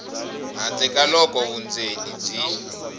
handle ka loko vundzeni byi